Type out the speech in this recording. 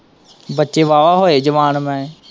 ਬੱਚੇ ਵਾਹ-ਵਾਹ ਹੋਏ ਜਵਾਨ ਮੈਂ।